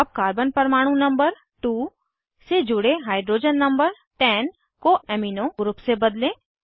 अब कार्बन परमाणु नंबर 2 से जुड़े हाइड्रोजन नंबर 10 को अमीनो ग्रुप से बदलें